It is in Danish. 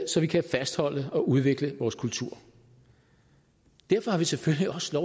så vi kan fastholde og udvikle vores kultur derfor har vi selvfølgelig også